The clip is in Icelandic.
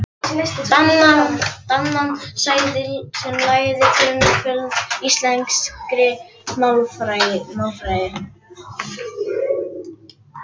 Danann sem lagði grundvöll að íslenskri málfræði.